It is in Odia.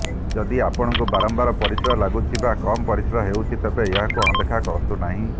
ଯଦି ଆପଣଙ୍କୁ ବାରମ୍ବାର ପରିସ୍ରା ଲାଗୁଛି ବା କମ୍ ପରିସ୍ରା ହେଉଛି ତେବେ ଏହାକୁ ଅଣଦେଖା କରନ୍ତୁ ନାହିଁ